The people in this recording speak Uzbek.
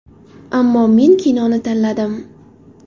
Ammo men kinoni tanladim.